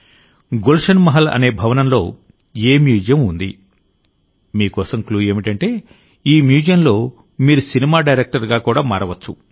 గుల్షన్ మహల్ అనే భవనంలో ఏ మ్యూజియం ఉంది మీ కోసం క్లూ ఏమిటంటేఈ మ్యూజియంలో మీరు సినిమా డైరెక్టర్గా కూడా మారవచ్చు